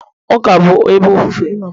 Ụka bụ ebe ofufe